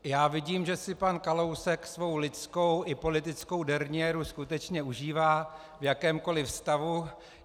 Já vidím, že si pan Kalousek svou lidskou i politickou derniéru skutečně užívá v jakémkoliv stavu.